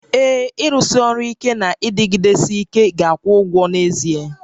Ee, ịrụsi ọrụ ike na ịdịgidesi ike ga-akwụ ụgwọ n'ezie